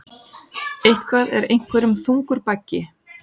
Eitthvað er einhverjum þungur baggi